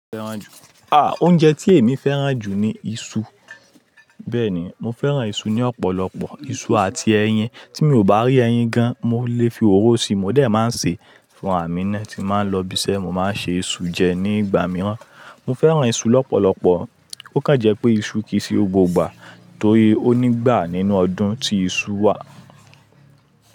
À, oúnjẹ tí èmi fẹ́ràn jù ni iṣu. Bẹ́ẹ̀ ni, mo fẹ́ràn iṣu ní ọ̀pọ̀lọpọ̀. Iṣu àti ẹyin. Tí mi ò bá rí ẹyin gan, mo lè fi òróró si. Mo dẹ̀ máa ń sè é fún à mínà tí máa ń lọ ibi iṣẹ́, mo máa ń ṣe iṣu jẹ ní ìgbà mìíràn. Mo fẹ́ràn iṣu lọ́pọ̀lọpọ̀. Ó kàn jẹ́ pé iṣu kì í ṣe gbogba, torí ó nígbà nínú ọdún tí iṣu wà.